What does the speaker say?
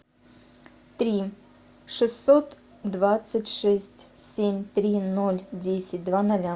три шестьсот двадцать шесть семь три ноль десять два ноля